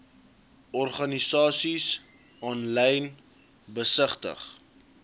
organisasies aanlyn besigtig